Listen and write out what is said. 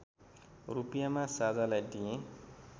रूपियाँमा साझालाई दिएँ